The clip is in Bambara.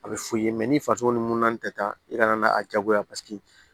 A bɛ f'u ye ni faso ni munna tɛ taa i ka na n'a jagoya paseke